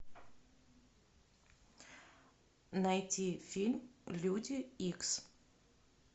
найти фильм люди икс